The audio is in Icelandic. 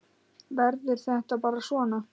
Verður þetta bara svona?